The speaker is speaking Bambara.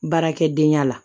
Baarakɛdenya la